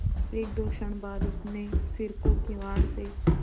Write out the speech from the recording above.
एकदो क्षण बाद उसने सिर को किवाड़ से